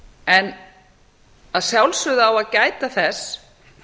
en að sjálfsögðu á að gæta þess